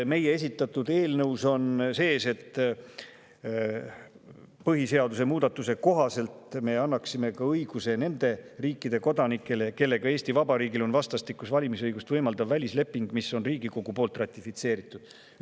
Meie esitatud eelnõus on sees, et põhiseaduse muudatuse kohaselt me annaksime õiguse ka nende riikide kodanikele, kellega Eesti Vabariigil on vastastikust valimisõigust võimaldav välisleping, mis on Riigikogu poolt ratifitseeritud.